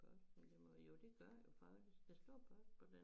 Men det må jo det gør det jo faktisk der står post på den